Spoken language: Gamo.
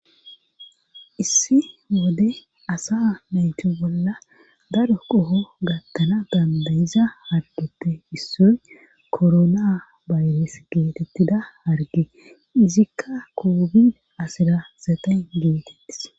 Issi wode asa naytu bolla daro qoho gattana dandayiza hargeppe issoy korona bayres geetettida harge izikka kobid asida saxen geetettis.